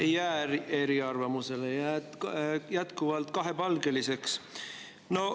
Ei jää te eriarvamusele, vaid jätkuvalt kahepalgeliseks.